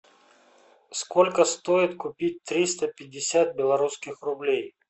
сколько стоит купить триста пятьдесят белорусских рублей